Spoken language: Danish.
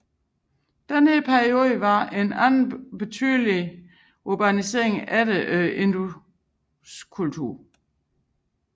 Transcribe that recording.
Denne periode var den anden betydelige urbanisering efter Induskulturen